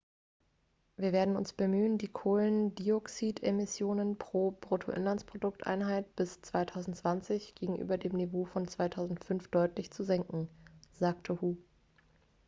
wir werden uns bemühen die kohlendioxidemissionen pro bip-einheit bis 2020 gegenüber dem niveau von 2005 deutlich zu senken sagte hu